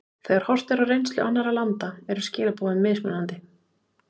Þegar horft er á reynslu annarra landa eru skilaboðin mismunandi.